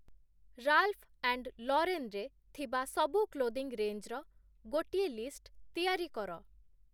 Ralph and ଲରେନ୍‌ରେ ଥିବା ସବୁ କ୍ଲୋଦିଂ ରେଞ୍ଜ୍‌ର ଗୋଟିଏ ଲିଷ୍ଟ୍‌ ତିଆରି କର